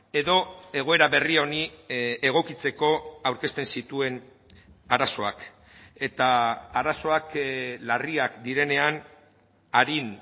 edo egoera berri honi egokitzeko aurkezten zituen arazoak eta arazoak larriak direnean arin